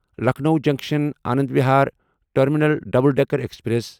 Lucknow junction Anand Vihar terminal double decker express